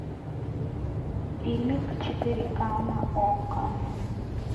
фильмик четыре ка на окко